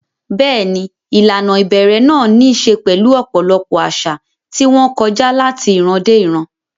Bẹ́ẹ̀ni, ìlànà ìbẹ̀rẹ̀ náà ní í ṣe pẹ̀lú ọ̀pọ̀lọpọ̀ àṣà, tí wọ́n kọjá láti ìran dé ìran.